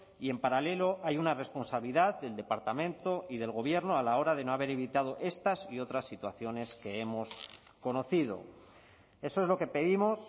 y en paralelo hay una responsabilidad del departamento y del gobierno a la hora de no haber evitado estas y otras situaciones que hemos conocido eso es lo que pedimos